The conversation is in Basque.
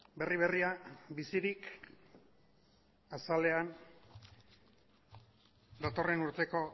berri berria bizirik azalean datorren urteko